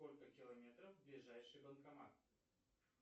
сколько километров ближайший банкомат